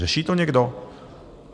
Řeší to někdo?